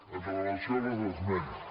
amb relació a les esmenes